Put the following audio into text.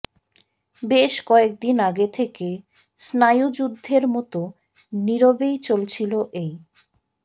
বেশ কয়েকদিন আগে থেকে স্নায়ুযুদ্ধের মত নিরবেই চলছিলো এই